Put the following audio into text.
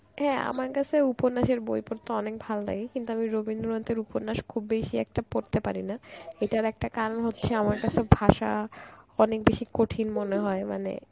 হ্যাঁ আমার কাছেও উপন্যাসের বই পড়তে অনেক ভাললাগে কিন্তু আমি রবীন্দ্রনাথের উপন্যাস খুব বেশি একটা পড়তে পারি না, এটার একটা কারণ হচ্ছে আমার কাছে ভাষা অনেক বেশি কঠিন মনে হয় মানে